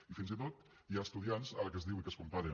i fins i tot hi ha estudiants ara que es diu i que es compara